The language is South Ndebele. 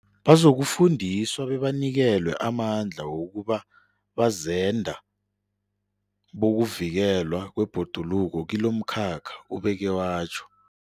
Bazokufundiswa bebanikelwe amandla wokuba bazenda bokuvikelwa kwebhoduluko kilomkhakha, ubeke watjho.